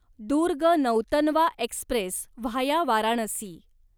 Durg Nautanwa express via Varanasi